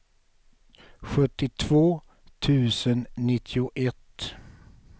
sjuttiotvå tusen nittioett